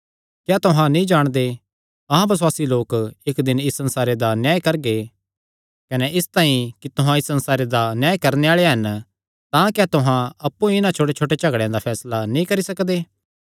क्या तुहां नीं जाणदे अहां बसुआसी लोक इक्क दिन इस संसारे दा न्याय करगे कने इसतांई कि तुहां इस संसारे दा न्याय करणे आल़े हन तां क्या तुहां अप्पु इन्हां छोटेछोटे झगड़ेयां दा फैसला नीं करी सकदे